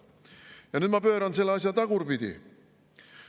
Ja nüüd ma pööran selle asja tagurpidi.